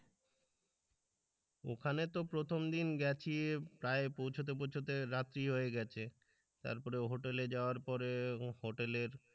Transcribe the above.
ওখানে তো প্রথম দিন গেছি প্রায় পৌঁছতে পৌঁছতে রাত্রি হয়ে গেছে তারপরে হোটেলে যাওয়ার পরে হোটেলের